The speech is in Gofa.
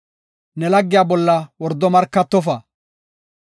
“Ne laggiya bolla wordo markatofa.